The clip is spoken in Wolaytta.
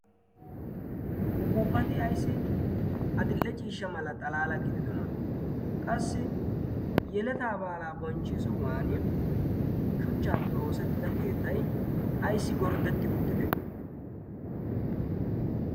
ufuuppati aissi adil'e ciishsha mala xalaala gididona qassi yeletaa baalaa bonchchi sohuwan shuchchaappe oosettida keettai a'ssi gorddetti uttide?